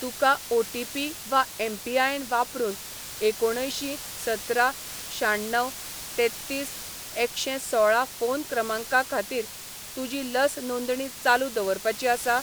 तुका ओटीपी वा एमपीआयएन वापरून एकुणअंयशीं सतरा शाण्णव तेत्तीस एकशेंसोळा फोन क्रमांका खातीर तुजी लस नोंदणी चालू दवरपाची आसा?